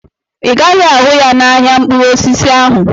Ị gaghị ahụ ya n'ahịa mkpụrụ osisi ahụ.